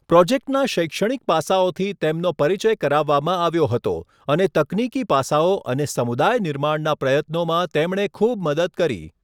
પ્રોજેક્ટના શૈક્ષણિક પાસાઓથી તેમનો પરિચય કરાવવામાં આવ્યો હતો અને તકનીકી પાસાઓ અને સમુદાય નિર્માણના પ્રયત્નોમાં તેમણે ખૂબ મદદ કરી.